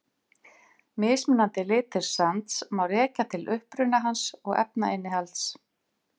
Mismunandi litir sands má rekja til uppruna hans og efnainnihalds.